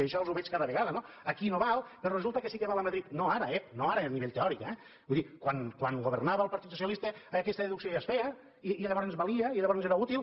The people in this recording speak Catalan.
i això els ho veig cada vegada no aquí no val però resulta que sí que val a madrid no ara ep no ara a nivell teòric eh vull dir quan governava el partit socialista aquesta deducció ja es feia i llavors valia i llavors era útil